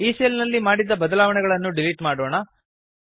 ಈ ಸೆಲ್ ನಲ್ಲಿ ಮಾಡಿದ ಬದಲಾವಣೆಗಳನ್ನು ಡಿಲೀಟ್ ಮಾಡೋಣ